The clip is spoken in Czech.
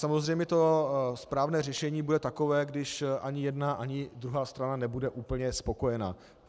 Samozřejmě to správné řešení bude takové, když ani jedna ani druhá strana nebude úplně spokojená.